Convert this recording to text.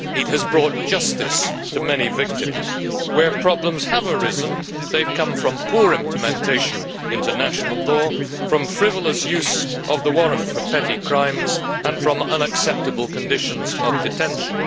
It has brought justice to many victims. Where problems have arisen, they have come from poor implementation into national law, from frivolous use of the warrant for petty crimes and from unacceptable conditions of detention.